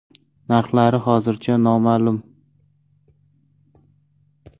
Narxlari hozircha noma’lum.